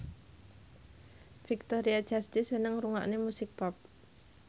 Victoria Justice seneng ngrungokne musik pop